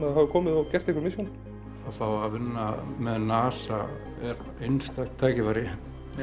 þau hafa komið og gert eitthvað mission að fá að vinna með NASA er einstakt tækifæri